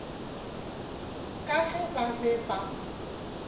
ka ge ba be ba